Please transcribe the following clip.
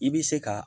I bɛ se ka